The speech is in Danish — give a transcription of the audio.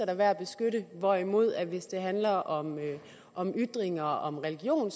er værd at beskytte hvorimod det hvis det handler om om ytringer om religion